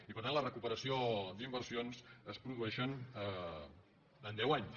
i per tant la recuperació d’inversions es produ·eix en deu anys